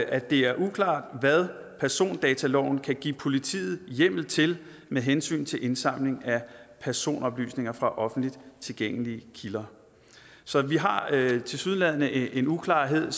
at det er uklart hvad persondataloven kan give politiet hjemmel til med hensyn til indsamling af personoplysninger fra offentligt tilgængelige kilder så vi har tilsyneladende en uklarhed